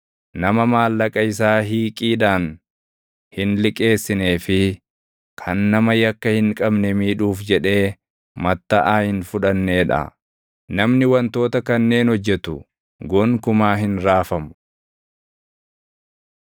nama maallaqa isaa hiiqiidhaan hin liqeessinee fi kan nama yakka hin qabne miidhuuf jedhee mattaʼaa hin fudhannee dha. Namni wantoota kanneen hojjetu, gonkumaa hin raafamu.